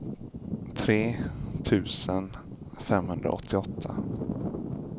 tre tusen femhundraåttioåtta